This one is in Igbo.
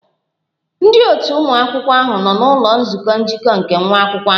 Ndị otu ụmụ akwụkwọ ahụ nọ n'ụlọ nzukọ njikọ nke nwa akwụkwọ ahụ